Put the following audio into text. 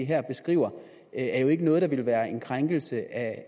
her beskriver er jo ikke noget der ville være en krænkelse af